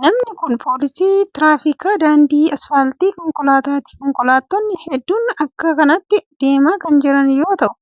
Namni kun, poolisii tiraafikaa daandii asfaaltii konkolaataati. Konkolaattonni hedduun bakka kanatti deemaa kan jiran yoo ta'u,